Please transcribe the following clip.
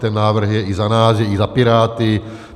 Ten návrh je i za nás, je i za Piráty.